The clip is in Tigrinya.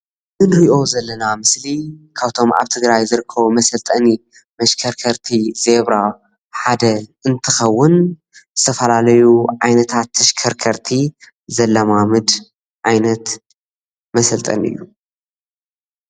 እዚ ንሪኦ ዘለና ምስሊ ካብቶም ኣብ ትግራይ ዘለው መሰልጠኒ መሽከርከርቲ ዘብራ ሓደ እንትከውን ዝተፈላለዩ ዓይነታት ተሽከርከርቲ ዘለማምድ ዓይነት መሰልጠኒ እዩ።